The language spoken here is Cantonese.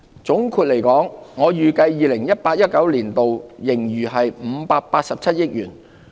總括來說，我預計 2018-2019 年度盈餘為587億元。